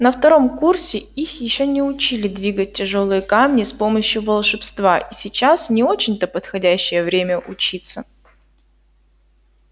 на втором курсе их ещё не учили двигать тяжёлые камни с помощью волшебства и сейчас не очень-то подходящее время учиться